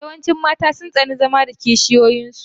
Yawancin mata sun tsani zama da kishiyoyin su.